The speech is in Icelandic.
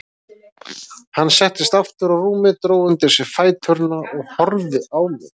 Hann settist aftur á rúmið, dró undir sig fæturna og horfði á mig.